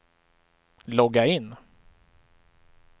logga in